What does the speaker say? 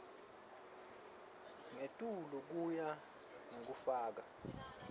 ngetulu ngekuya ngekufaka